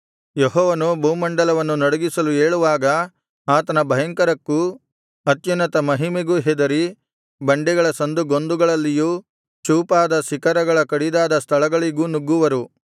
ಯೆಹೋವನು ಭೂಮಂಡಲವನ್ನು ನಡುಗಿಸಲು ಏಳುವಾಗ ಆತನ ಭಯಂಕರಕ್ಕೂ ಅತ್ಯುನ್ನತ ಮಹಿಮೆಗೂ ಹೆದರಿ ಬಂಡೆಗಳ ಸಂದುಗೊಂದುಗಳಲ್ಲಿಯೂ ಚೂಪಾದ ಶಿಖರಗಳ ಕಡಿದಾದ ಸ್ಥಳಗಳಿಗೂ ನುಗ್ಗುವರು